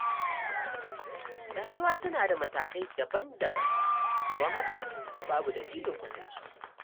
Rayuwa tana da matakai daban-daban, don haka babu dalilin kwatance.